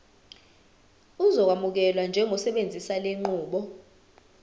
uzokwamukelwa njengosebenzisa lenqubo